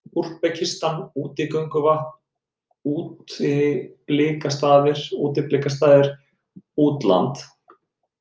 Úsbekistan, Útigönguvatn, Útilbliksstaðir, Útland